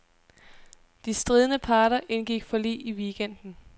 De stridende parter indgik forlig i weekenden.